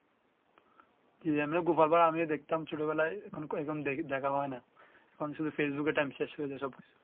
জ্বি আমি গোপাল ভাড় আমিও দেখতাম ছোট বেলায় এ রকম দেখি দেখা হয় না এখন শুধু ফেসবুক টাইম শেষ হয়ে যায় সব কিছু